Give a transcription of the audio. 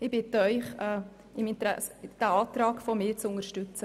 Ich bitte Sie, meinen Antrag zu unterstützen.